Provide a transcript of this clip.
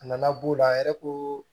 A nana b'o la a yɛrɛ ko